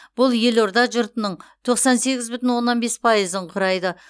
бұл елорда жұртының тоқсан сегіз бүтін оннан бес пайызын құрайды